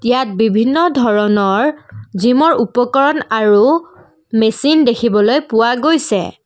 ইয়াত বিভিন্ন ধৰণৰ জিমৰ উপকৰণ আৰু মেচিন দেখিবলৈ পোৱা গৈছে।